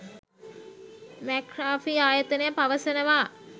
McAfee ආයතනය පවසනවා